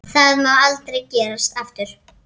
Það má aldrei gerast aftur.